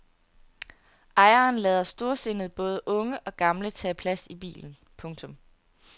Ejeren lader storsindet både unge og gamle tage plads i bilen. punktum